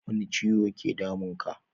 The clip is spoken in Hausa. Wani ciwo ke damun ka?